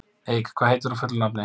Eik, hvað heitir þú fullu nafni?